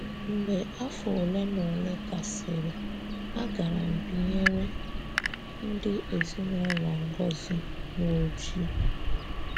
Mgbe afọ ole na ole gasịrị, agaram binyere ndị ezinụlọ Ngozi n'Oji.